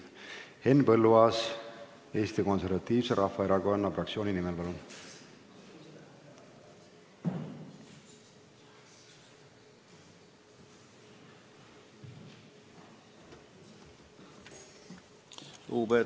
Henn Põlluaas Eesti Konservatiivse Rahvaerakonna fraktsiooni nimel, palun!